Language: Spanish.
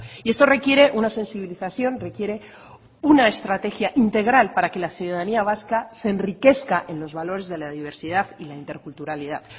y esto requiere una sensibilización requiere una estrategia integral para que la ciudadanía vasca se enriquezca en los valores de la diversidad y la interculturalidad